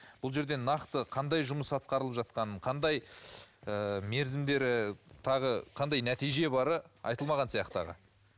бұл жерде нақты қандай жұмыс атқарылып жатқанын қандай ыыы мерзімдері тағы қандай нәтиже бары айтылмаған сияқты аға